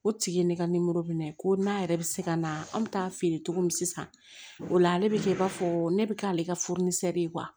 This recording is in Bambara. O tigi ye ne ka minɛ ko n'a yɛrɛ bɛ se ka na an bɛ taa feere cogo min sisan o la ale bɛ kɛ i b'a fɔ ne bɛ k'ale ka ye